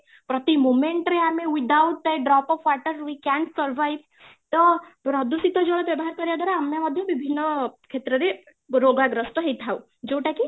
ପ୍ରତି moment ରେ ଆମେ without drop of water we can't survive ତ ପ୍ରଦୂଷିତ ଜଳ ବ୍ୟବହାର କରିବା ଦ୍ବାରା ଆମେ ବି ବିଭିନ୍ନ କ୍ଷେତ୍ରରେ ରୋଗାଗ୍ରସ୍ତ ହେଇ ଥାଉ ଯୋଉଟା କି